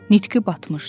Nitqi batmışdı.